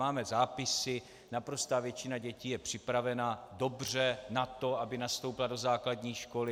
Máme zápisy, naprostá většina dětí je připravena dobře na to, aby nastoupila do základní školy.